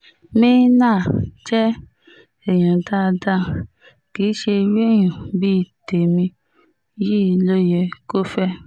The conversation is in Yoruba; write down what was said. me·enah jẹ́ èèyàn dáadáa kì í ṣe irú èèyàn bíi tèmi yìí ló yẹ kó fẹ́